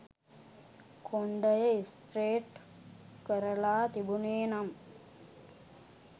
කොණ්ඩය straight කරලා තිබුනේ නම්